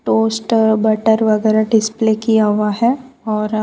oyster butter वगैरा display किया हुआ है और --